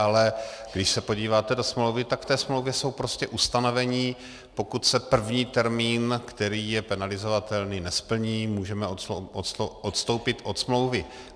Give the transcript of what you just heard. Ale když se podíváte do smlouvy, tak v té smlouvě jsou prostě ustanovení, pokud se první termín, který je penalizovatelný, nesplní, můžeme odstoupit od smlouvy.